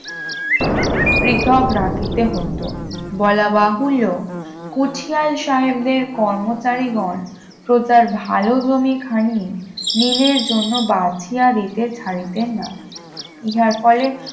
পৃথক রাখিতে হইত বলা বাহুল্য কুঠিয়াল সাহেবদের কর্মচারীগণ প্রতার ভালো জমিখানি নীলের জন্য বাঁচিয়া দিতে ছাড়িতেন না ইহার ফলে